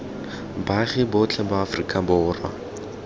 baagi botlhe ba aforika borwa